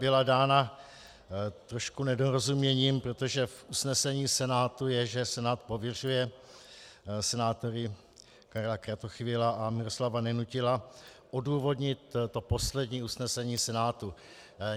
Byla dána trošku nedorozuměním, protože v usnesení Senátu je, že Senát pověřuje senátory Karla Kratochvíleho a Miroslava Nenutila odůvodnit to poslední usnesení Senátu.